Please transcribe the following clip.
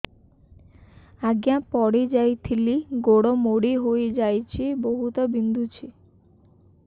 ଆଜ୍ଞା ପଡିଯାଇଥିଲି ଗୋଡ଼ ମୋଡ଼ି ହାଇଯାଇଛି ବହୁତ ବିନ୍ଧୁଛି